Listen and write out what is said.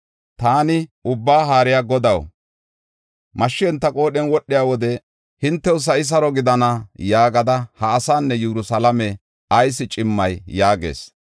Taani, “Ubbaa Haariya Godaw, mashshi enta qoodhen wodhiya wode ‘Hintew sa7i saro gidana’ yaagada ha asaanne Yerusalaame ayis cimmay” yaagas.